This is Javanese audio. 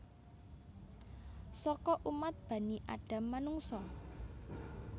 Saka umat Bani Adam Manungsa